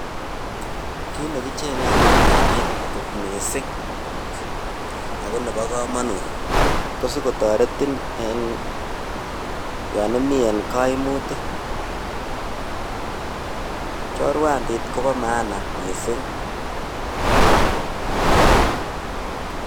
Kiit nekecheng'e en chorwandit kot mising ak ko nebo komonut ko sikotoreton en yoon omii en koimutik, chorwandit kobo maana mising.